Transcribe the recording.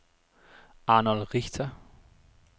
Arnold Richter